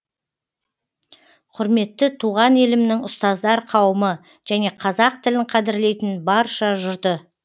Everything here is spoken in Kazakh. құрметті туған елімнің ұстаздар қауымы және қазақ тілін қадірлейтін барша жұрты